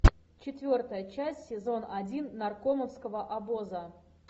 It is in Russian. четвертая часть сезон один наркомовского обоза